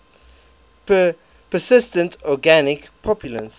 persistent organic pollutants